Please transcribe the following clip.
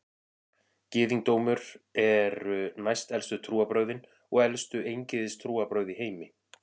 Gyðingdómur eru næstelstu trúarbrögðin og elstu eingyðistrúarbrögð í heimi.